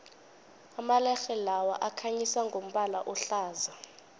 amalerhe lawa akhanyisa ngombala ohlaza